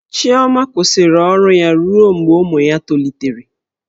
Ozioma kwụsịrị ọrụ ya ruo mgbe ụmụ ya tolitere.